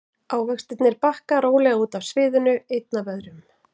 Ávextirnir bakka rólega út af sviðinu einn af öðrum.